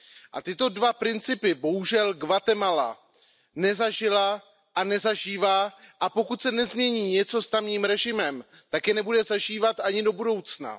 A tyto dva principy bohužel Guatemala nezažila a nezažívá, a pokud se nezmění něco s tamním režimem, tak je nebude zažívat ani do budoucna.